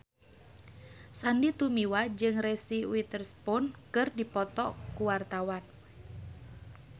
Sandy Tumiwa jeung Reese Witherspoon keur dipoto ku wartawan